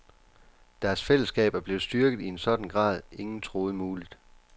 Deres fællesskab er blevet styrket i en sådan grad, ingen troede muligt.